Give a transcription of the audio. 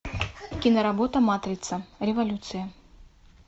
киноработа матрица революция